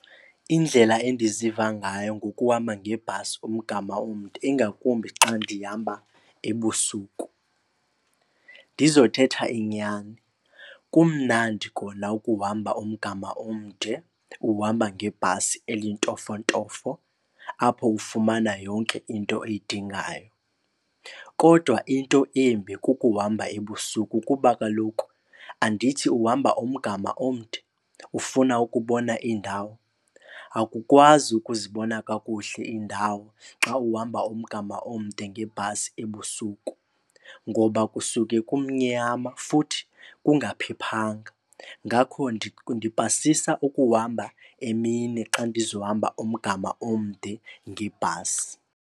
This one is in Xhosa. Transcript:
Indlela endiziva ngayo ngokuhamba ngebhasi umgama omde ingakumbi xa ndihamba ebusuku. Ndizothetha inyani, kumnandi kona ukuhamba umgama omde uhamba ngebhasi elintofontofo apho ufumana yonke into oyidingayo. Kodwa into embi kukuhamba ebusuku kuba kaloku, andithi uhamba umgama omde ufuna ukubona iindawo. Akukwazi ukuzibona kakuhle indawo xa uhamba umgama omde ngebhasi ebusuku ngoba kusuke kumnyama futhi kungaphephanga. Ngakho ndipasisa ukuhamba emini xa ndizohamba umgama omde ngebhasi.